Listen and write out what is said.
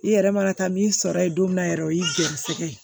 I yɛrɛ mana taa min sɔrɔ yen don min na yɛrɛ o y'i gɛrisɛgɛ ye